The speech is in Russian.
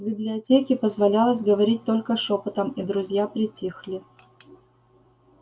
в библиотеке позволялось говорить только шёпотом и друзья притихли